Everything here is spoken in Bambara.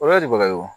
O yɔrɔ de bɛ wo